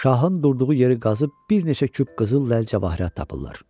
Şahın durduğu yeri qazıb bir neçə küp qızıl ləlcəvahirat tapırlar.